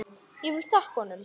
Ég vil þakka honum.